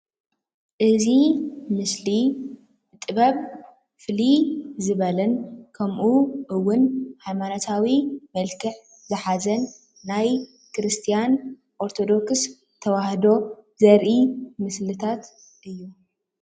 እዚ ምስሊ ጥበብ ፍልይ ዝበለ ከምኡ ውን ሃይማኖታዊን መልክዕ ዝሓዘ ናይ ክርስትያን ኦርቶዶክስ ተዋህዶ ዘርኢ ምስልታት እዩ።